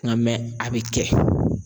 Nka a bɛ kɛ.